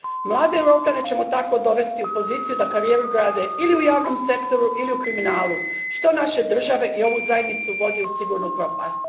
Mlade Europljane ćemo tako dovesti u poziciju da karijeru grade ili u javnom sektoru ili u kriminalu, što naše države i ovu zajednicu vodi u sigurnu propast.